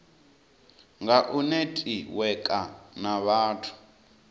nga u netiweka na vhathu